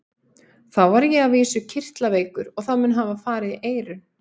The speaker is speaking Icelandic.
Þá var ég að vísu kirtlaveikur og það mun hafa farið í eyrun.